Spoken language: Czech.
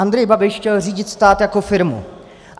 Andrej Babiš chtěl řídit stát jako firmu.